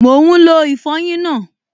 Mò ún lo ìfọyín náà